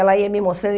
Ela ia me mostrando.